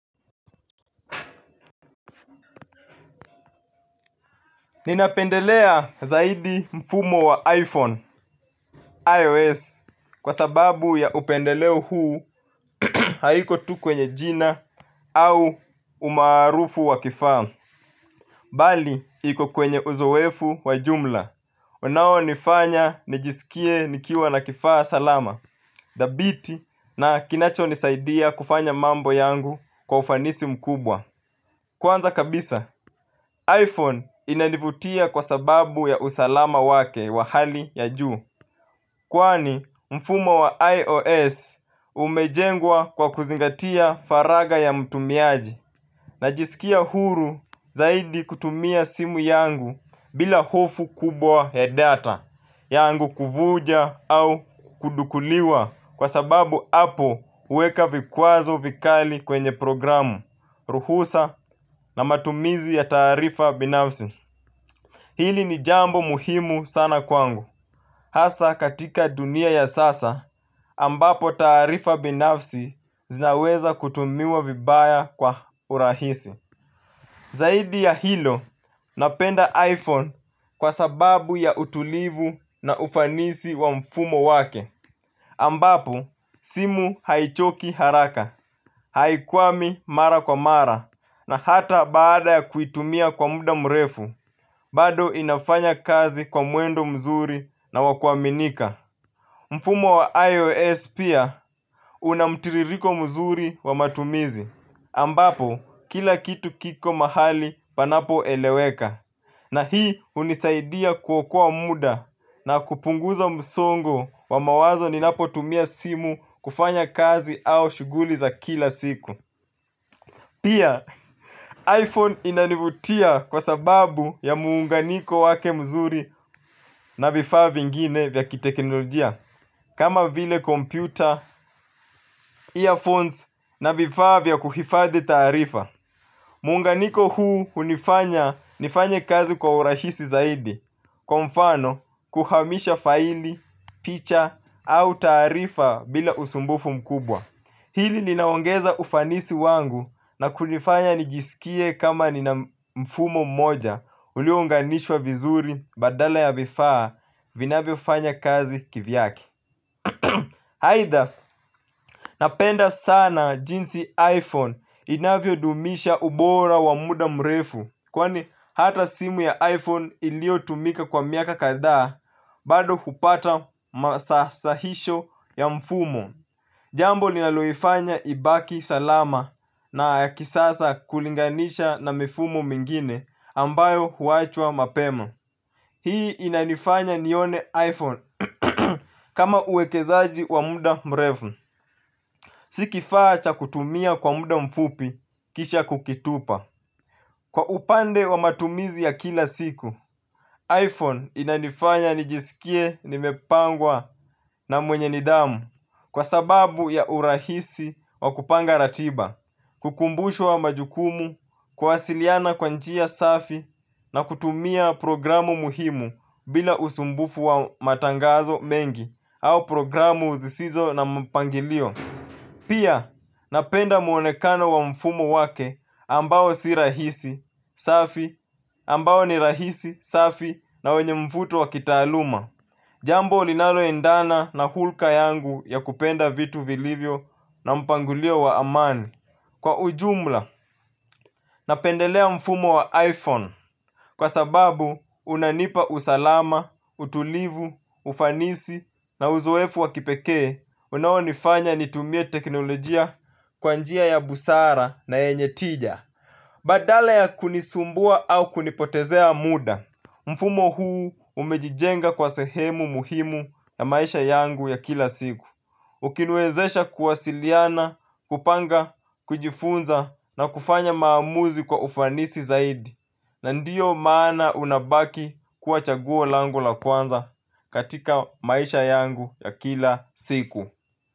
Ninapendelea zaidi mfumo wa iPhone, iOS, kwa sababu ya upendeleo huu haiko tu kwenye jina au umaarufu wa kifamu. Bali, iko kwenye uzowefu wa jumla. Unaonifanya, nijisikie, nikiwa na kifaa salama, dhabiti na kinacho nisaidia kufanya mambo yangu kwa ufanisi mkubwa. Kwanza kabisa, iPhone inanivutia kwa sababu ya usalama wake wa hali ya juu, kwani mfumo wa iOS umejengwa kwa kuzingatia faraga ya mtumiaji najisikia huru zaidi kutumia simu yangu bila hofu kubwa ya data yangu kuvuja au kudukuliwa kwa sababu apo uweka vikwazo vikali kwenye programu, ruhusa na matumizi ya taarifa binafsi. Hili ni jambo muhimu sana kwangu hasa katika dunia ya sasa ambapo taarifa binafsi zinaweza kutumiwa vibaya kwa urahisi. Zaidi ya hilo napenda iPhone kwa sababu ya utulivu na ufanisi wa mfumo wake ambapo simu haichoki haraka. Haikwami mara kwa mara. Na hata baada ya kuitumia kwa muda mrefu. Bado inafanya kazi kwa mwendo mzuri na wakuaminika. Mfumo wa IOS pia una mtiririko mzuri wa matumizi ambapo kila kitu kiko mahali panapo eleweka. Na hii unisaidia kuokoa muda na kupunguza msongo wa mawazo ninapo tumia simu kufanya kazi au shuguli za kila siku. Pia, iPhone inanivutia kwa sababu ya muunganiko wake mzuri na vifaa vingine vya kiteknolojia, kama vile kompyuta, earphones na vifaa vya kuhifadhi taarifa. Muunganiko huu unifanya nifanye kazi kwa urahisi zaidi, kwa mfano kuhamisha faili, picha, au taarifa bila usumbufu mkubwa. Hili linaongeza ufanisi wangu na kunifanya nijisikie kama nina mfumo moja uliuounganishwa vizuri badala ya vifaa vinavyo fanya kazi kivyake. Haitha napenda sana jinsi iPhone inavyo dumisha ubora wa muda mrefu kwani hata simu ya iPhone ilio tumika kwa miaka kadhaa bado hupata masahisho ya mfumo. Jambo linaloifanya ibaki salama na kisasa kulinganisha na mifumo mingine ambayo huachwa mapema. Hii inanifanya nione iPhone kama uwekezaji wa muda mrefu. Si kifaa cha kutumia kwa muda mfupi kisha kukitupa. Kwa upande wa matumizi ya kila siku, iPhone inanifanya nijisikie nimepangwa na mwenye nidhamu kwa sababu ya urahisi wa kupanga ratiba. Kukumbushwa majukumu, kuwasiliana kwa njia safi na kutumia programu muhimu bila usumbufu wa matangazo mengi au programu zisizo na mpangilio. Pia napenda muonekano wa mfumo wake ambao si rahisi safi ambao ni rahisi safi na wenye mvuto wa kitaaluma. Jambo linalo endana na hulka yangu ya kupenda vitu vilivyo na mpangilio wa amani. Kwa ujumla, napendelea mfumo wa iPhone. Kwa sababu, unanipa usalama, utulivu, ufanisi na uzoefu wa kipekee, unawonifanya nitumie teknolojia kwa njia ya busara na yenye tija. Badala ya kunisumbua au kunipotezea muda. Mfumo huu umejijenga kwa sehemu muhimu ya maisha yangu ya kila siku. Ukiniwezesha kuwasiliana, kupanga, kujifunza na kufanya maamuzi kwa ufanisi zaidi. Na ndiyo maana unabaki kuwa chaguo langu la kwanza katika maisha yangu ya kila siku.